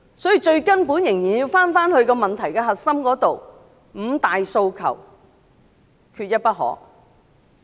所以，我們仍要回到問題最根本的核心，即"五大訴求，缺一不可"。